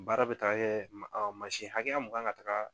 Baara bɛ taa yɛɛ kuma dɔ mansi hakɛya mun kan ŋa taga